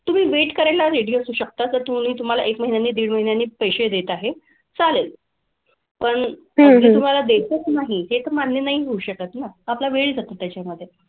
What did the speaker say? तुम्ही wait करायला ready असू शकता तर तुम्ही तुम्हाला एक महिन्याने, दीड महिन्याने पैसे देत आहे. चालेल. पण अगदी तुम्हाला देतच नाही हे तर मान्य नाही ना. आपला वेळ जातो त्याच्यामधे.